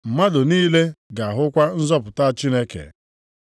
Mmadụ niile ga-ahụkwa nzọpụta Chineke.’ ”+ 3:6 \+xt Aịz 40:3-5\+xt*